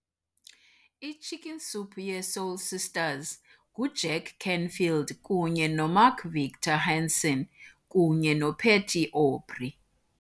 I-Chicken Soup ye-Soul Sisters nguJack Canfield kunye noMark Victor Hansen kunye noPatty Aubery